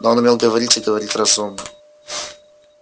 но он умел говорить и говорить разумно